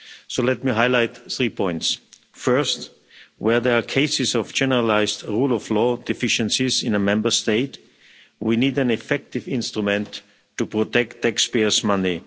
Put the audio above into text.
So let me highlight three points. First, where there are cases of generalised rule of law deficiencies in a Member State, we need an effective instrument to protect taxpayers' money.